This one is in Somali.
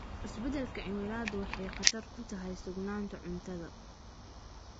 Isbeddelka cimiladu waxay khatar ku tahay sugnaanta cuntada.